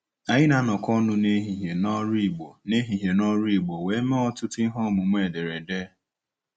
Anyị na-anọkọ ọnụ n'ehihie n'ọrụ Igbo n'ehihie n'ọrụ Igbo wee mee ọtụtụ ihe ọmụmụ ederede.